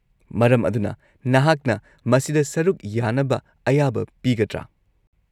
-ꯃꯔꯝ ꯑꯗꯨꯅ, ꯅꯍꯥꯛꯅ ꯃꯁꯤꯗ ꯁꯔꯨꯛ ꯌꯥꯅꯕ ꯑꯌꯥꯕ ꯄꯤꯒꯗ꯭ꯔꯥ?